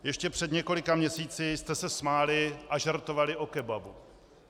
Ještě před několika měsíci jste se smáli a žertovali o kebabu.